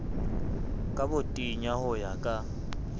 ka botenya ho ya ka